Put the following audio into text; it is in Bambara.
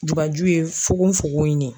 Jubaju ye fugonfugon in de ye.